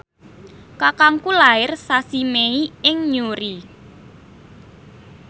kakangku lair sasi Mei ing Newry